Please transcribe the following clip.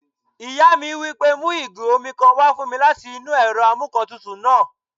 Ìyá mi wí pé "mu ìgò omi kan wá fún mi láti inú ẹ̀rọ amúǹkantutù náà!"